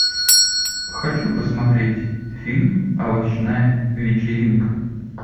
хочу посмотреть фильм овощная вечеринка